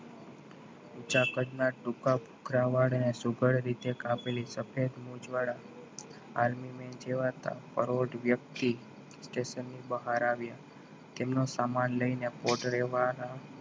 ઊંચા કદના ટૂંકા કપડા વાળા અને સુગંધ રીતે કાપેલા મોજા વાળા army man જેવા દેખાતા પરોઢ વ્યક્તિ station ની બહાર આવ્યા. તેમને સામાન લઈને પહોંચે વાળા